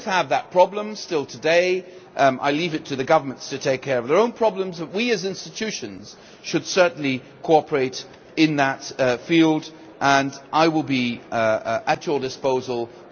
I leave it to the governments to take care of their own problems, but we as institutions should certainly cooperate in that field and I will be at your disposal to look for ways of improving that.